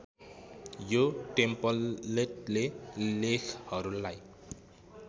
यो टेम्प्लेटले लेखहरूलाई